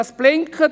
Es blinkt.